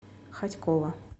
хотьково